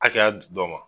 Hakɛya dɔ ma